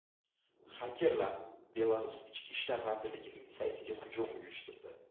Xakerlar Belarus ichki ishlar vazirligining saytiga hujum uyushtirdi.